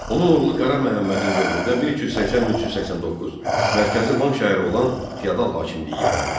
Onun oğlu Qara Məhəmmədin dövründə 1380-1389 mərkəzi Van şəhəri olan feodal hakimiyyəti yarandı.